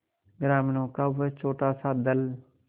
ग्रामीणों का वह छोटासा दल